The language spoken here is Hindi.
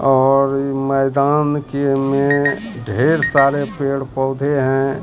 और मैदान के में ढेर सारे पेड़ पौधे हैं।